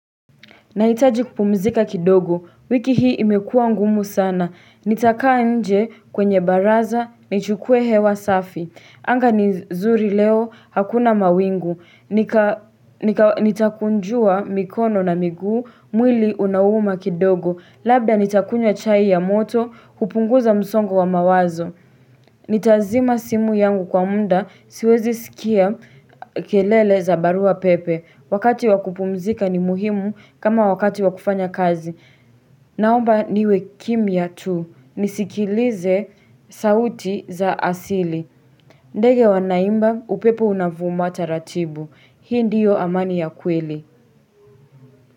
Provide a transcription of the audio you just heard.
Naitaji kupumzika kidogo. Wiki hii imekua ngumu sana. Nitakaa nje kwenye baraza, nichukue hewa safi. Anga ni zuri leo hakuna mawingu, Nitakunjua mikono na miguu. Mwili unauma kidogo. Labda nitakunywa chai ya moto, hupunguza msongo wa mawazo. Nitazima simu yangu kwa muda. Siwezi sikia kelele za barua pepe. Wakati wakupumzika ni muhimu kama wakati wakufanya kazi. Naomba niwe kimya tu. Nisikilize sauti za asili. Ndege wanaimba, upepo unavuma taratibu. Hii ndiyo amani ya kweli.